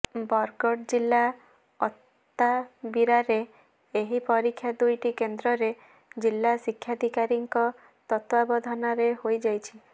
ବରଗଡ଼ ଜିଲ୍ଲା ଅତାବିରାରେ ଏହି ପରୀକ୍ଷା ଦୁଇଟି କେନ୍ଦ୍ରରେ ଜିଲ୍ଲା ଶିକ୍ଷାଧିକାରୀଙ୍କ ତତ୍ତ୍ବାବଧାନରେ ହୋଇଯାଇଛି